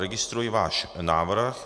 Registruji váš návrh.